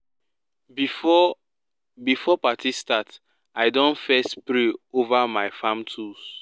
before before party start i don first pray over my farm tools